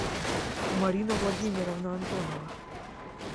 марина владимировна антонова